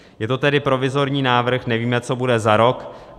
Je to tedy provizorní návrh, nevíme, co bude za rok.